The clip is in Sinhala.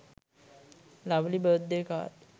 lovely birthday card